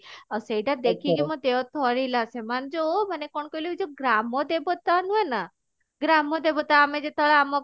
ଆଉ ସେଇଟା ଦେଖିକି ମୋ ଦେହ ଥରିଲା ସେମାନେ ଯଉ ମାନେ କଣ କହିଲ ଏଇ ଯଉ ଗ୍ରାମ ଦେବତା ନୁହେଁ ଗ୍ରାମ ଦେବତା ଆମେ ଯେତେବେଳେ ଆମ